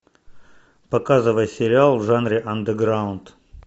показывай сериал в жанре андерграунд